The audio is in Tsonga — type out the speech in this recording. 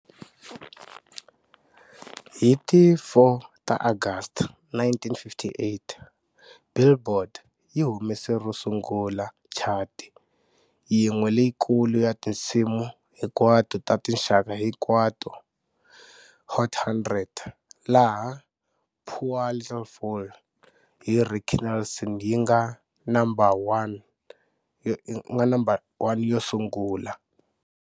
Hi ti 4 ta August 1958,"Billboard" yi humese ro sungula chati yin'we leyikulu ya tinsimu hinkwato ta tinxaka hinkwato-"Hot 100", laha" Poor Little Fool" hi Ricky Nelson yi nga No. 1 yo sungula.